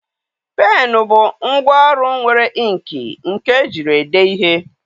Pennụ bụ ngwa ọlụ nwere inkịị nke ejiri ede ihe.